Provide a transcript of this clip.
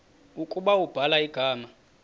ukuba ubhala igama